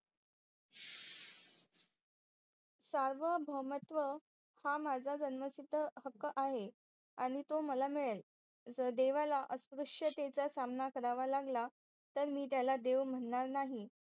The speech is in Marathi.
सार्वभौवमत्व हा माझा जन्मसिद्ध हक्क आहे आणि तो मला मिळेल जर देवाला अस्प्रूशतेचा सामना करावा लागला तर मी त्याला देव म्हणार नाही